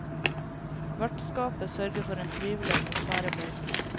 Vertskapet sørger for en trivelig atmosfære på hyttene.